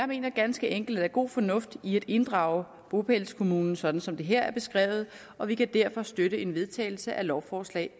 mener ganske enkelt at der er god fornuft i at inddrage bopælskommunen sådan som det her er beskrevet og vi kan derfor støtte en vedtagelse af lovforslag